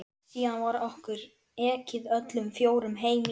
Síðan var okkur ekið öllum fjórum heim í